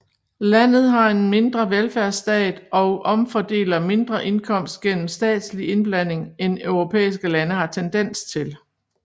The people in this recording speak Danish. Landet har en mindre velfærdsstat og omfordeler mindre indkomst gennem statslig indblanding end europæiske lande har tendens til